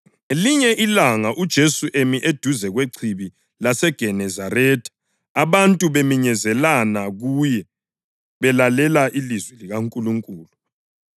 Ngelinye ilanga uJesu emi eduze kweChibi laseGenezaretha abantu beminyezelana kuye belalela ilizwi likaNkulunkulu,